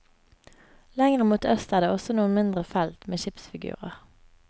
Lengre mot øst er det også noen mindre felt med skipsfigurer.